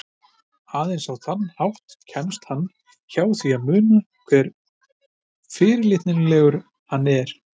Aðeins á þann hátt kemst hann hjá því að muna hve fyrirlitlegur hann er.